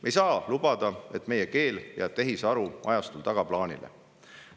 Me ei saa lubada, et meie keel jääb tehisaru ajastul tagaplaanile.